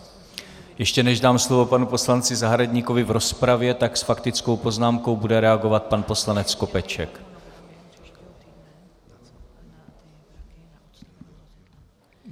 Ještě než dám slovo panu poslanci Zahradníkovi v rozpravě, tak s faktickou poznámkou bude reagovat pan poslanec Skopeček.